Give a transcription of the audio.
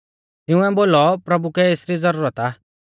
तिंउऐ बोलौ प्रभु कै एसरी ज़ुरत आ